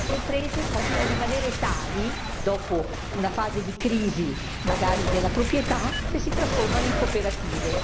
Molte imprese possono rimanere tali dopo una fase di crisi, magari della proprietà, se si trasformano in cooperative.